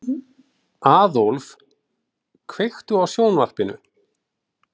Aðólf, kveiktu á sjónvarpinu.